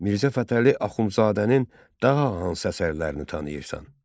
Mirzə Fətəli Axundzadənin daha hansı əsərlərini tanıyırsan?